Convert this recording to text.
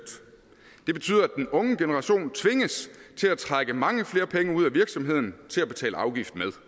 det betyder at den unge generation tvinges til at trække mange flere penge ud af virksomheden til at betale afgift med